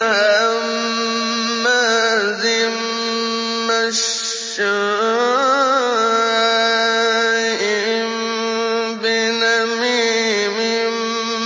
هَمَّازٍ مَّشَّاءٍ بِنَمِيمٍ